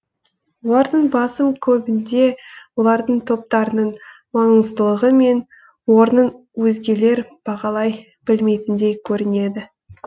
олардың басым көбінде олардың топтарының маңыздылығы мен орнын өзгелер бағалай білмейтіндей көрінеді